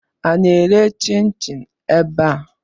A na-ere chin-chin ebe a?